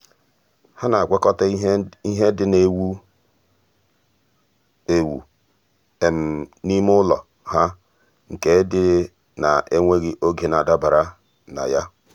há nà-ágwàkọ́tà ìhè ndị nà-èwú éwú n’ímé ụ́lọ̀ há nke ndị nà-énwéghị́ oge nà-àdàbèrè ná yá.